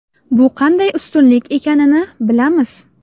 Bu qanday ustunlik ekanini bilamiz.